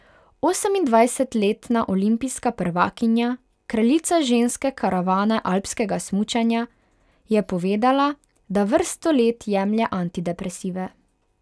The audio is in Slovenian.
Osemindvajsetletna olimpijska prvakinja, kraljica ženske karavane alpskega smučanja, je povedala, da vrsto let jemlje antidepresive.